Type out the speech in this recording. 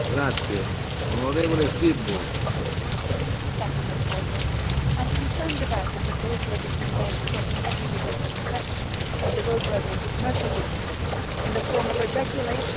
Mr President, I am concerned that the proposal of these new measures on the technical roadside inspection of the roadworthiness of commercial vehicles is in the form of a regulation and not a directive.